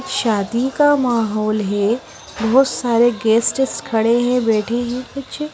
शादी का माहौल है बहोत सारे गेस्टेस खड़े है बैठे हैं कुछ--